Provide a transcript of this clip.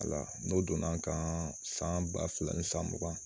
Wala n'o donna n kan san ba fila ni san mugan